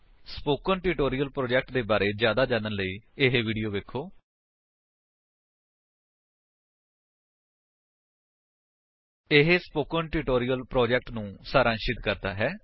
spoken tutorial project ਦੇ ਬਾਰੇ ਵਿੱਚ ਜਿਆਦਾ ਜਾਣਨ ਦੇ ਲਈ spoken tutorial org what is a spoken tutorial160 ਉੱਤੇ ਉਪਲੱਬਧ ਵੀਡੀਓ ਵੇਖੋ ਇਹ ਸਪੋਕਨ ਟਿਊਟੋਰਿਅਲ ਪ੍ਰੋਜੇਕਟ ਨੂੰ ਸਾਰਾਂਸ਼ਿਤ ਕਰਦਾ ਹੈ